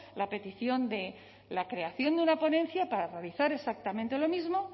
la petición de la creación de una ponencia para realizar exactamente lo mismo